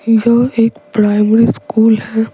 जो एक primary school है।